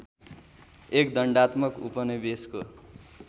एक दण्डात्मक उपनिवेशको